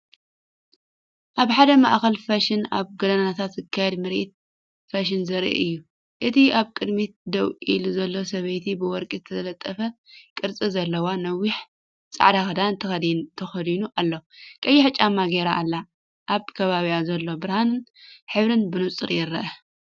ኣብ ሓደ ማእከል ፋሽን ኣብ ጎደናታት ዝካየድ ምርኢት ፋሽን ዘርኢ እዩ። እቲ ኣብ ቅድሚት ደው ኢሉ ዘሎ ሰበይቲ ብወርቂ ዝተጠልፈ ቅርጺ ዘለዎ ነዊሕ ጻዕዳ ክዳን ተኸዲኑ ኣሎ። ቀይሕ ጫማ ገይራ ኣላ። ኣብ ከባቢኡ ዘሎ ብርሃንን ሕብርን ብንጹር ይርአ።